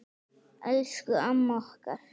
Elsku amma okkar.